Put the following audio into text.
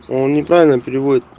он неправильно переводит